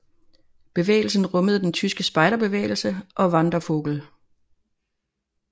Bevægelsen rummede den tyske spejderbevægelse og Wandervogel